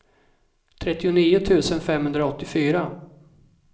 trettionio tusen femhundraåttiofyra